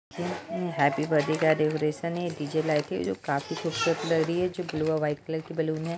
ये happy birthday का decoration है डी_जे लाइट है जो काफी खुबसूरत लग रही है जो ब्लू और वाईट कलर के बलून हैं।